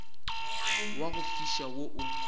wa go fiša wo o